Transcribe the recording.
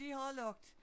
Vi har lukket